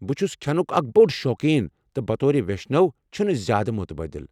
بہٕ چھُس کھٮ۪نُک اکھ بوٚڑ شوقیٖن تہٕ بطور ویشنو چھِنہٕ زیادٕ مٖتبٲدِل ۔